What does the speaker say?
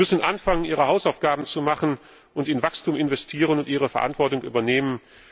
Sie müssen anfangen, ihre Hausaufgaben zu machen, in Wachstum investieren und ihre Verantwortung übernehmen.